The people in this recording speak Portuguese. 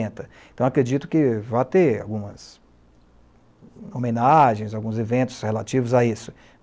Então acredito que vai ter algumas homenagens, alguns eventos relativos a isso.